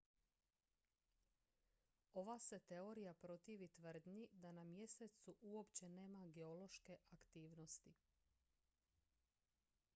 ova se teorija protivi tvrdnji da na mjesecu uopće nema geološke aktivnosti